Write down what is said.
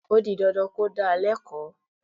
O di dandan kí ó dá a lẹ́kọ̀ọ́